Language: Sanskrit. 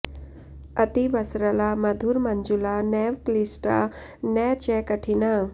अतीवसरला मधुर मंजुला नैव क्ल्ष्टिा न च कठिना